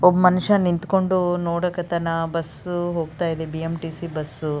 ಒಬ್ಬ ಮನುಷ್ಯ ನಿಂತ್ಕೊಂಡು ನೋಡಕ್ ಹತ್ತನ ಬಸ್ ಹೋಗ್ತಾ ಇದೆ ಬಿ.ಎಂ.ಟಿ.ಸಿ ಬಸ್ಸ .